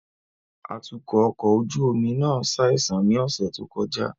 Atukọ ọkọ ojú omi náà ṣaisan ni ọsẹ to kọja